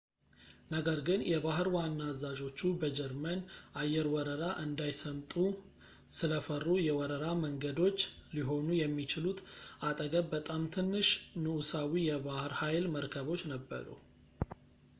ነገር ግን የባሕር ዋና አዛዦቹ በጀርመን አየር ወረራ እንዳይሰምጡ ስለፈሩ የወረራ መንገዶች ሊሆኑ የሚችሉት አጠገብ በጣም ትንሽ ንጉሳዊ የባሕር ኃይል መርከቦች ነበሩ